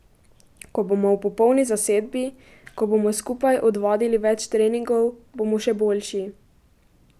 Ko bomo v popolni zasedbi, ko bomo skupaj odvadili več treningov, bomo še boljši.